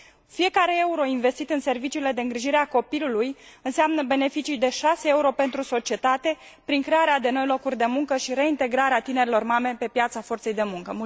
Fiecare euro investit în serviciile de îngrijire a copilului înseamnă beneficii de 6 euro pentru societate, prin crearea de noi locuri de muncă și reintegrarea tinerelor mame pe piața forței de muncă.